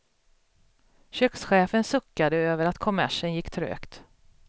Kökschefen suckade över att kommersen gick trögt.